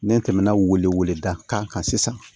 Ne tɛmɛna weleweleda kan sisan